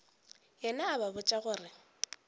yena a ba botša gore